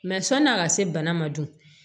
Mɛ sɔn'a ka se bana ma dun